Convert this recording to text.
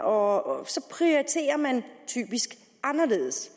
og så prioriterer man typisk anderledes